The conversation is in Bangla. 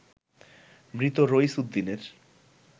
মৃত রইছ উদ্দিনের